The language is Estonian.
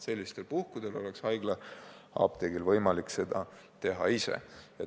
Sellistel puhkudel oleks haiglaapteegil võimalik hankida ravim ise.